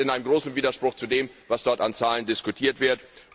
Das steht in einem großen Widerspruch zu dem, was dort an Zahlen diskutiert wird.